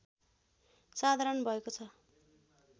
साधारण भएको छ